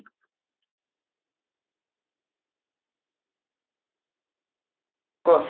କହ